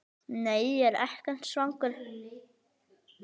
Nei, ég er ekkert svangur.